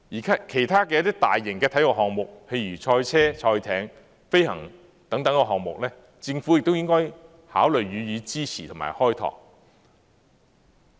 其他一些大型體育項目，譬如賽車、賽艇和飛行等項目，政府亦應考慮予以支持和開拓。